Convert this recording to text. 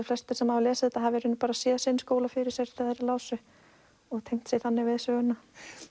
flestir sem hafa lesið þetta hafa í raun bara séð sinn skóla fyrir sér þegar þeir lásu og tengt sig þannig við söguna